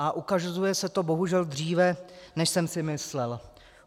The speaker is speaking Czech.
A ukazuje se to bohužel dříve, než jsem si myslel.